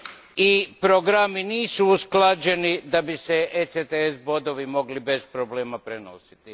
i programi nisu usklađeni da bi se ECTF bodovi mogli bez problema prenositi.